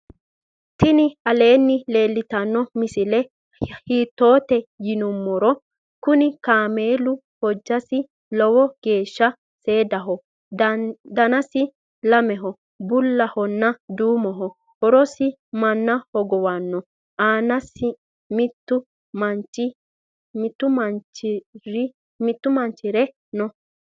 tinni aleni leltano misile. hitote yonumoro. kuni kamelu hojasi loowo gesha sedaho. dannasi lameho buulahona duumoho horosi mana hogowanoho. annasi mittu manchi ure noo.